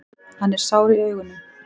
Hann er sár í augunum.